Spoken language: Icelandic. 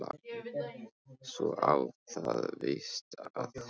Svo á það víst að heita